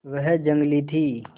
वह जंगली थी